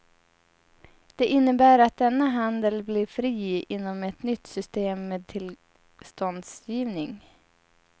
Det innebär att denna handel blir fri inom ett nytt system med tillståndsgivning.